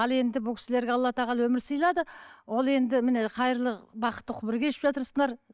ал енді бұл кісілерге алла тағала өмір сыйлады ол енді міне хайырлы бақытты ғұмыр кешіп жатырсыңдар